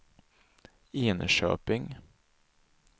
Enköping